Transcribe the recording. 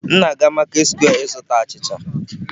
M na-aga maketị sekwe ịzụta achịcha.